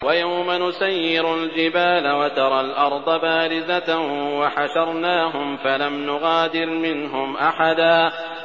وَيَوْمَ نُسَيِّرُ الْجِبَالَ وَتَرَى الْأَرْضَ بَارِزَةً وَحَشَرْنَاهُمْ فَلَمْ نُغَادِرْ مِنْهُمْ أَحَدًا